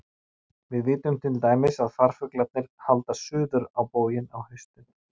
Við vitum til dæmis að farfuglarnir halda suður á bóginn á haustin.